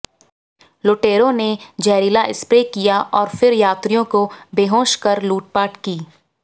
लुटेरों ने जहरीला स्प्रे किया और फिर यात्रियों को बेहोश कर लूटपाट की